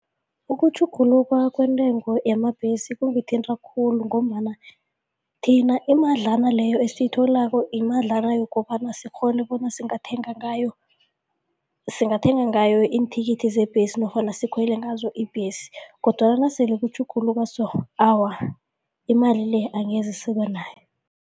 Ukutjhuguluka kwentengo yamabhesi kungithinta khulu ngombana thina imadlana leyo esiyitholako yimadlana yokobana sikghone bona singathenga ngayo singathenga ngayo iinthikithi zebhesi nofana sikhwele ngazo ibhesi kodwana nasele kutjhuguluka so, awa, imali le angeze sibe nayo.